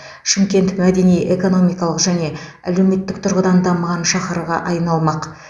шымкент мәдени экономикалық және әлеуметтік тұрғыдан дамыған шаһарға айналмақ